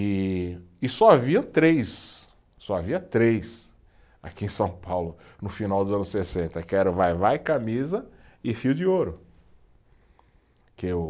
E, e só havia três, só havia três aqui em São Paulo, no final dos anos sessenta, que eram Vai-Vai, camisa e fio de ouro, que o